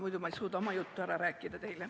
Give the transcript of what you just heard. Muidu ma ei suuda oma juttu teile ära rääkida.